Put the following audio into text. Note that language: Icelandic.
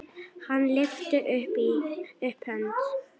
Hann lyfti upp hönd.